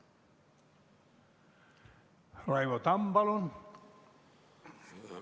Raivo Tamm, palun!